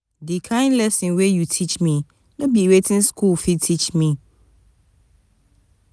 di kain lesson wey you teach me no be wetin skool fit teach me.